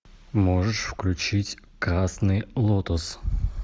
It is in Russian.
можешь включить красный лотос